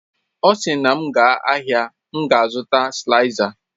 Ọ sị na m gaa ahịa, m ga-azụta sịlaizas